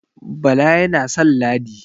Bala yana san Ladi